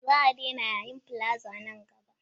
Za a daina yayin palaza nan gaba.